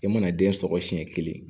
I mana den sɔgɔ siɲɛ kelen